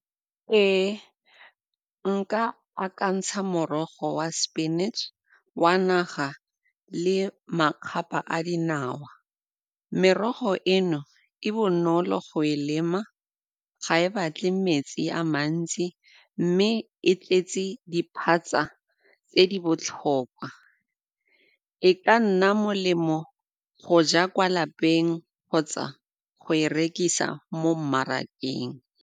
Ee, nka akantsha morogo wa spinach, wa naga le ka a dinawa. Merogo eno e bonolo go e lema, ga e batle metsi a mantsi mme e tletse diphatsa tse di botlhokwa. E ka nna molemo go ja kwa lapeng kgotsa go e rekisa mo mmarakeng.